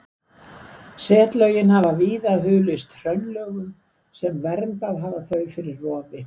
Setlögin hafa víða hulist hraunlögum sem verndað hafa þau fyrir rofi.